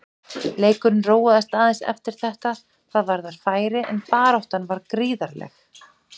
Leikurinn róaðist aðeins eftir þetta hvað varðar færi en baráttan var gríðarleg.